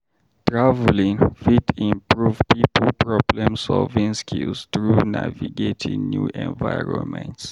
Traveling fit improve pipo problem-solving skills through navigating new environments.